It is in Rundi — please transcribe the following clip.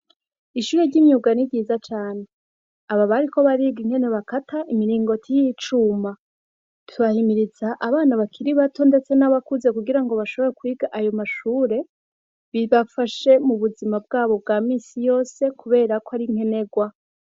Ishure ry'imyuga ni ryiza cane aba bariko bariga ingene bakata imiringoti y'icuma turahimiriza abana bakiri bato ndetse n'abakuze kugira ngo bashobora kwiga ayo mashure bibafashe mu buzima bwabo bwa misi yose kubera ko ari nkenegwa.